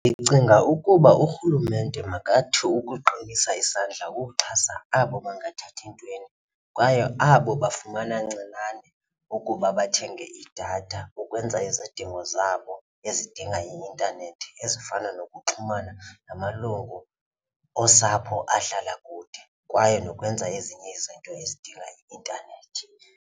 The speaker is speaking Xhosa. Ndicinga ukuba urhulumente makathi ukuqinisa isandla ukuxhasa abo bangathathi ntweni kwaye abo bafumana ncinane ukuba bathenge idatha ukwenza izidingo zabo ezidinga i-intanethi ezifana nokuxhumana namalungu osapho ahlala kude kwaye nokwenza ezinye izinto ezidinga i-intanethi.